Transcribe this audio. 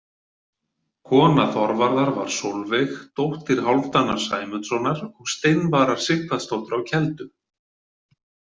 Kona Þorvarðar var Solveig, dóttir Hálfdanar Sæmundssonar og Steinvarar Sighvatsdóttur á Keldum.